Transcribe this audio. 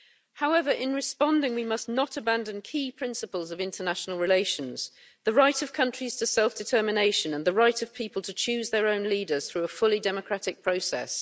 However, in responding we must not abandon key principles of international relations the right of countries to self determination and the right of people to choose their own leaders through a fully democratic process.